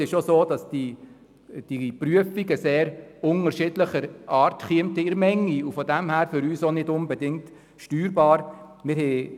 Es ist auch so, dass diese Prüfungen in unterschiedlicher Menge nötig würden und für uns nicht unbedingt steuerbar wären.